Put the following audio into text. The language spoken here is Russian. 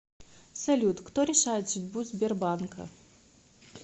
салют кто решает судьбу сбербанка